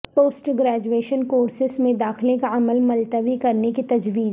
post graduation courses میں داخلہ کا عمل ملتوی کرنے کی تجویز